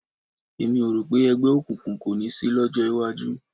Èmi ò rò pé ẹgbẹ́ òkùnkùn kò ní sí lọ́jọ́ iwájú